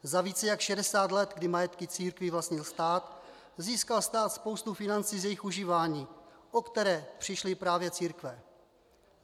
Za více jak 60 let, kdy majetky církví vlastnil stát, získal stát spoustu financí z jejich užívání, o které přišly právě církve.